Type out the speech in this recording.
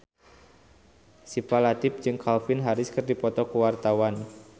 Syifa Latief jeung Calvin Harris keur dipoto ku wartawan